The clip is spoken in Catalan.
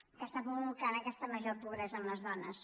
que estan provocant aquesta major pobresa en les dones